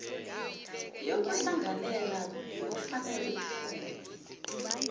yokuhlanganela bekufanele ifune